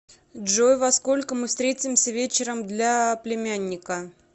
джой во сколько мы встретимся вечером для племянника